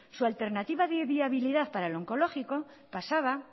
su alternativa de viabilidad para el oncológico pasaba